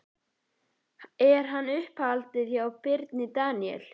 Er hann í uppáhaldi hjá Birni Daníel?